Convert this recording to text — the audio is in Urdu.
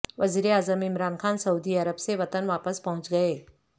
وزیراعظم عمران خان سعودی عرب سے وطن واپس پہنچ گئے